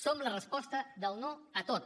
som la resposta del no a tot